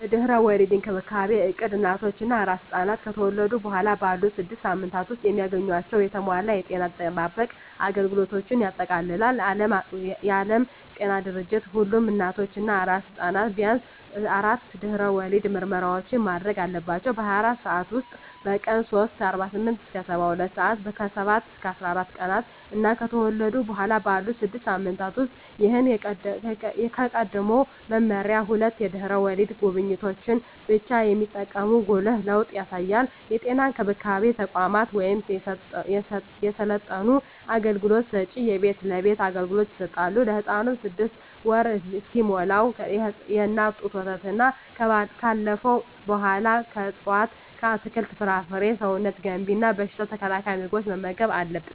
የድህረ ወሊድ እንክብካቤ እቅድ እናቶች እና አራስ ሕፃናት ከተወለዱ በኋላ ባሉት ስድስት ሳምንታት ውስጥ የሚያገኟቸውን የተሟላ የጤና አጠባበቅ አገልግሎቶችን ያጠቃልላል። የዓለም ጤና ድርጅት ሁሉም እናቶች እና አራስ ሕፃናት ቢያንስ አራት የድህረ ወሊድ ምርመራዎችን ማድረግ አለባቸው - በ24 ሰዓት ውስጥ፣ በቀን 3 (48-72 ሰአታት)፣ ከ7-14 ቀናት እና ከተወለዱ በኋላ ባሉት 6 ሳምንታት ውስጥ። ይህ ከቀድሞው መመሪያ ሁለት የድህረ ወሊድ ጉብኝቶችን ብቻ የሚጠቁም ጉልህ ለውጥ ያሳያል። የጤና እንክብካቤ ተቋማት ወይም የሰለጠኑ አገልግሎት ሰጭዎች የቤት ለቤት አገልግሎት ይሰጣሉ። ለህፃኑም 6ወር እስኪሞላው የእናት ጡት ወተትና ካለፈው በኃላ ከእፅዋት አትክልት፣ ፍራፍሬ ሰውነት ገንቢ እና በሽታ ተከላካይ ምግቦችን መመገብ አለብን